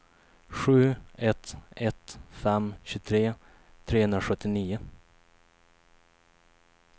sju ett ett fem tjugotre trehundrasjuttionio